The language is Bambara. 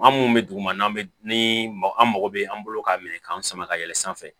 An mun bɛ dugu ma n'an bɛ ni an mago bɛ an bolo k'a minɛ k'an sama ka yɛlɛn sanfɛ